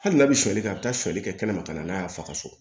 Hali n'a bɛ suli kɛ a bɛ taali kɛ kɛnɛma ka na n'a ye a fa ka so